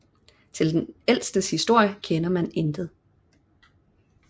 Til dens ældste historie kender man intet